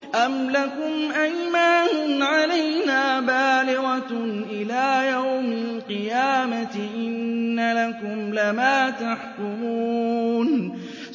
أَمْ لَكُمْ أَيْمَانٌ عَلَيْنَا بَالِغَةٌ إِلَىٰ يَوْمِ الْقِيَامَةِ ۙ إِنَّ لَكُمْ لَمَا تَحْكُمُونَ